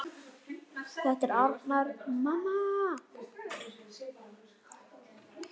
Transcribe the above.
Þetta er Arnar, mamma!